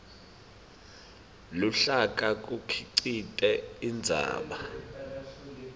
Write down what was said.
luhlaka kukhicite indzaba